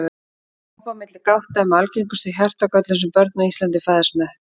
Op á milli gátta er með algengustu hjartagöllunum sem börn á Íslandi fæðast með.